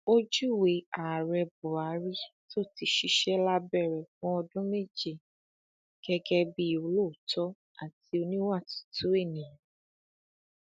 ó júwe ààrẹ buhari tó ti ṣiṣẹ lábẹ rẹ fún ọdún méje gẹgẹ bíi olóòótọ àti oníwà tútù ènìyàn